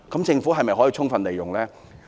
政府可否充分利用呢？